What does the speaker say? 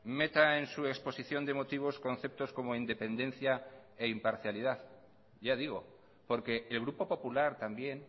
meta en su exposición de motivos conceptos como independencia e imparcialidad ya digo porque el grupo popular también